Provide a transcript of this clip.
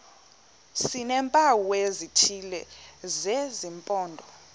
sineempawu ezithile zesimpondo